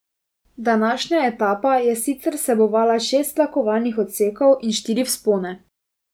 Današnja etapa je sicer vsebovala šest tlakovanih odsekov in štiri vzpone.